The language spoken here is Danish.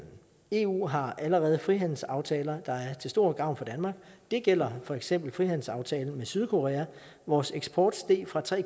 eu har allerede frihandelsaftaler der er til stor gavn for danmark det gælder for eksempel frihandelsaftalen med sydkorea vores eksport steg fra tre